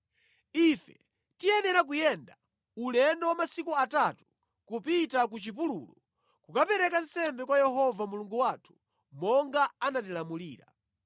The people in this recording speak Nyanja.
Ife tiyenera kuyenda ulendo wa masiku atatu kupita ku chipululu kukapereka nsembe kwa Yehova Mulungu wathu monga anatilamulira.”